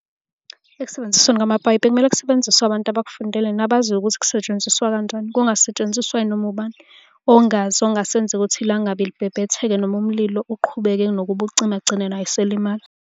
Ekusebenzisweni kwamapayipi bekumele kusebenziswe abantu abakufundele nabaziyo ukuthi kusetshenziswa kanjani, kungasetshenziswa noma ubani ongazi ongase enze ukuthi ilangabi libhebhetheke noma umlilo uqhubeke kunokuba ucime agcine naye eselimala.